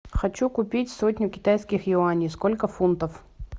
хочу купить сотню китайских юаней сколько фунтов